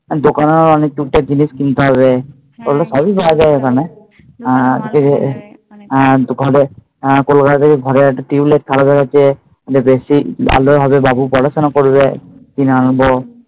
দোকানেও অনেক টুকটাক জিনিস কিনতে হবে বলল সবই পাওয়া যায় ওখানে হ্যাঁ, কলকাতা থেকে যে বেশি ভালোভাবে যাবো, পড়াশোনা করবো কিনে আনবো